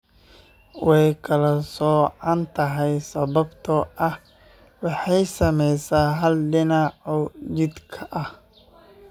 Way kala soocan tahay sababtoo ah waxay saamaysaa hal dhinac oo jidhka ah.